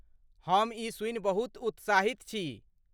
हम ई सुनि बहुत उत्साहित छी।